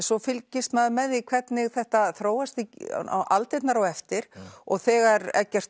svo fylgist maður með því hvernig þetta þróast aldirnar á eftir og þegar Eggert